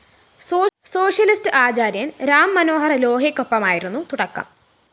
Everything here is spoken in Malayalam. സോഷ്യലിസ്റ്റ്‌ ആചാര്യന്‍ രാം മനോഹര്‍ ലോഹ്യക്കൊപ്പമായിരുന്നു തുടക്കം